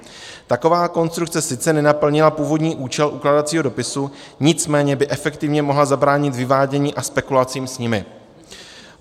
Taková konstrukce sice nenaplnila původní účel ukládacího dopisu, nicméně by efektivně mohla zabránit vyvádění a spekulacím s ním.